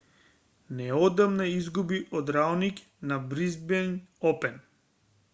неодамна изгуби од раониќ на бризбејн опен